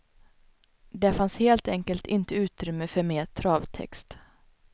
Det fanns helt enkelt inte utrymme för mer travtext.